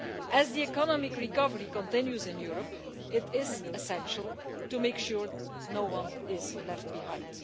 As the economic recovery continues in Europe, it is essential to make sure no one is left behind.